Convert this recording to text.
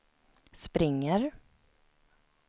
springer